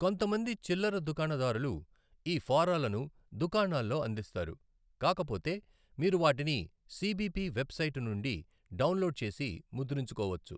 కొంతమంది చిల్లర దుకాణదారులు ఈ ఫారాలను దుకాణాల్లో అందిస్తారు, కాకపోతే, మీరు వాటిని సిబిపి వెబ్ సైట్ నుండి డౌన్లోడ్ చేసి ముద్రించుకోవచ్చు .